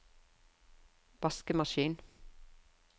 vaskemaskin